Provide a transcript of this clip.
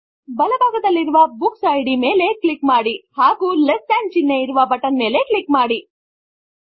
ಬಲ ಭಾಗದಲ್ಲಿರುವ books ID ಮೇಲೆ ಕ್ಲಿಕ್ ಮಾಡಿ ಹಾಗು ಲೆಸ್ ಥಾನ್ ಚಿಹ್ನೆ ಇರುವ ಬಟನ್ ಮೇಲೆ ಕ್ಲಿಕ್ ಮಾಡಿ